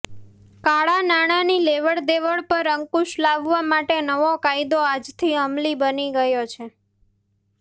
કાળાં નાણાંની લેવડ દેવડ પર અંકુશ લાવવા માટે નવો કાયદો આજથી અમલી બની ગયો છે